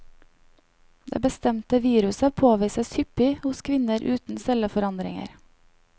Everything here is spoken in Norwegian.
Det bestemte viruset påvises hyppig hos kvinner uten celleforandringer.